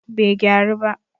bai gyaru ba